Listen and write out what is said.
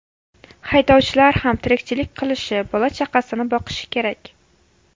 Haydovchilar ham tirikchilik qilishi, bola-chaqasini boqishi kerak.